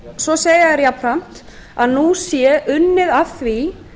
svo segja þeir jafnframt að nú sé unnið að því